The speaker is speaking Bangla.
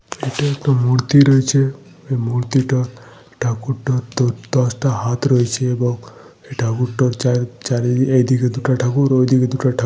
এই এখানে একটা মূর্তি রয়েছে। এই মূর্তিটা ঠাকুরটা দশ দশটা হাত রয়েছে এবং এই ঠাকুরটা চার চারিদিকে এদিকে দুটো ঠাকুর ওদিকে দুটো ঠাকুর রয়েছে।